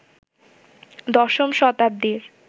দশম শতাব্দীর